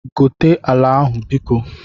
Gote ala ahụ biko?